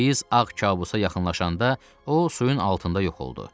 Biz ağ kabusa yaxınlaşanda o suyun altında yox oldu.